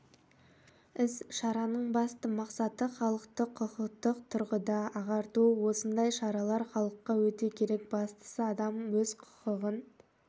іс-шараның басты мақсаты халықты құқықтық тұрғыда ағарту осындай шаралар халыққа өте керек бастысы адам өз құқығын